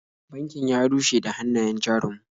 Bankin ya rushe da hannayen jarin mu.